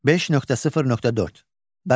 5.0.4 Bərabərlik.